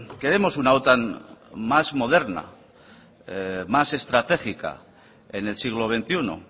queremos una otan más moderna más estratégica en el siglo veintiuno